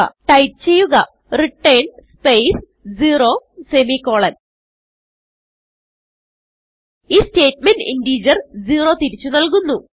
type ചെയ്യുക return space zero semicolon ഈ statement integer zero തിരിച്ചു നല്കുന്നു